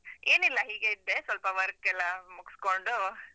ಏನಿಲ್ಲ ಹೀಗೇ ಇದ್ದೆ, ಸ್ವಲ್ಪ work ಲ್ಲ ಮುಗ್ಸ್‌ಕೊಂಡು.